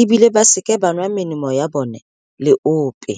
e bile ba seke ba nwa melemo ya bona le ope.